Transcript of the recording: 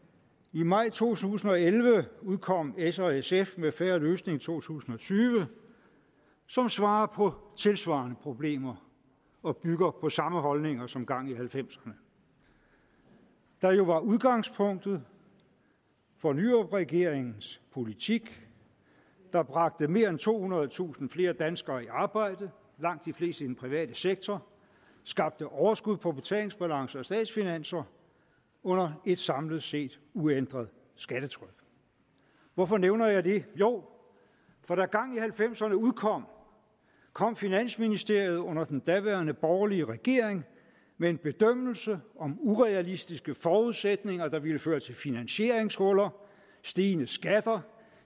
i maj to tusind og elleve udkom s og sf med en fair løsning to tusind og tyve som svarer på tilsvarende problemer og bygger på samme holdninger som gang i halvfemserne der jo var udgangspunktet for nyrupregeringens politik der bragte mere end tohundredetusind flere danskere i arbejde langt de fleste i den private sektor og skabte overskud på betalingsbalancen og statsfinanserne under et samlet set uændret skattetryk hvorfor nævner jeg det jo for da gang i halvfemserne udkom kom finansministeriet under den daværende borgerlige regering med en bedømmelse om urealistiske forudsætninger der ville føre til finansieringshuller stigende skatter